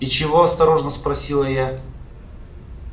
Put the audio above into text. и чего осторожно спросила я